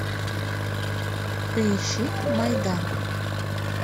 поищи майдан